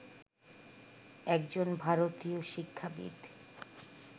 একজন ভারতীয় শিক্ষাবিদ